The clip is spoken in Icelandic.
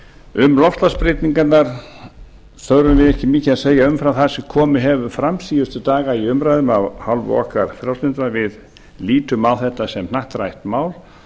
um loftslagsbreytingarnar þurfum við ári mikið að segja umfram það sem komið hefur fram síðustu daga í umræðum af hálfu okkar frjálslyndra við lítum á þetta sem hnattrænt mál